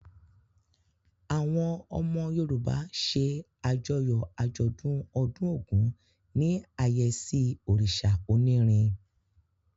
Àwọn ọmọ Yorùbá ṣe àjọyọ̀ àjọ̀dún ọdún Ògún ní àyẹ́sí òrìṣà onírin.